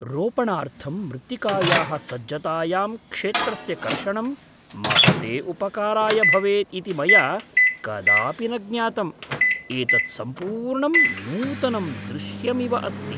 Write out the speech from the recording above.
रोपणार्थं मृत्तिकायाः सज्जतायां क्षेत्रस्य कर्षणं महते उपकाराय भवेत् इति मया कदापि न ज्ञातम्। एतत् सम्पूर्णं नूतनं दृश्यमिव अस्ति!